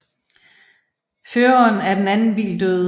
Føreren af den anden bil døde